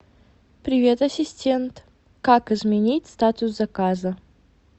привет ассистент как изменить статус заказа